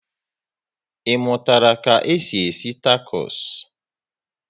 I mụtara ka e si esi takos?